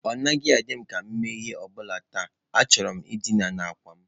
Ọ naghị adị m ka m na-eme ihe ọ bụla taa, achọrọ m dina n'àkwà m.